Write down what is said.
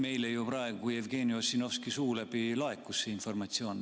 Meile laekus praegu Jevgeni Ossinovskilt laekus see informatsioon.